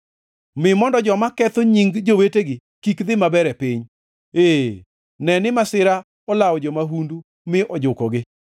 Mi mondo joma ketho nying jowetegi kik dhi maber e piny, ee, ne ni masira olawo jo-mahundu mi ojukogi.